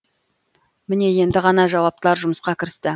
міне енді ғана жауаптылар жұмысқа кірісті